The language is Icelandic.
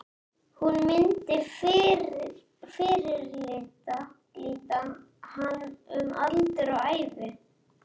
Hún myndi fyrirlíta hann um aldur og ævi!